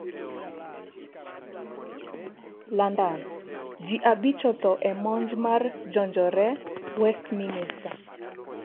London: ji abich otho e monj mar jonjore Westminister